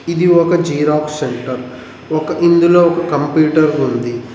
ఇది ఒక xerox centre ఒక ఇందులో ఒక కంప్యూటర్ ఉంది.